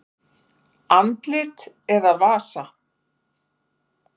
Andlit eða vasa?